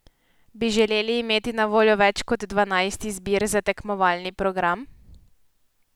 Bi želeli imeti na voljo več kot dvanajst izbir za tekmovalni program?